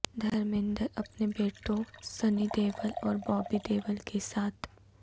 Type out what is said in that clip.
دھرمیندر اپنے بیٹوں سنی دیول اور بابی دیول کے ساتھ